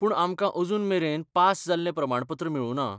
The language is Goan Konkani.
पूण आमकां अजून मेरेन पास जाल्लें प्रमाणपत्र मेळुंना.